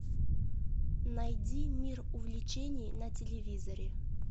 найди мир увлечений на телевизоре